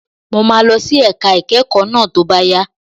Mo máa lọ sí ẹ̀ka ìkẹ́kọ̀ọ́ náà tó bá yá.